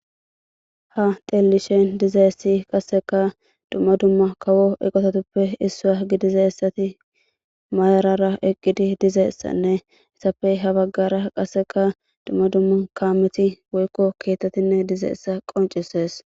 ha tellishen dizeessi qasseka dumma dumma kawo eqototuppe issaa gidizessati maarara eqqidi dizeessanne issafey habaggara qasseka dumma dumma kaameti woykko keettettinne dizeessa qoncises